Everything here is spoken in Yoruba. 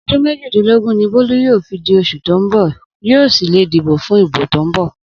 Odun mejidinlogun ni Bolu yoo fi di osu to n bo, yoo si le dibo fun ibo to n bo.